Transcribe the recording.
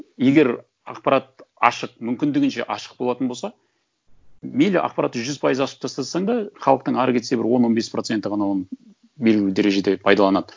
егер ақпарат ашық мүмкіндігінше ашық болатын болса мейлі ақпаратты жүз пайыз ашып тастасаң да халықтың әрі кетсе бір он он бес проценті ғана оны белгілі дәрежеде пайдаланады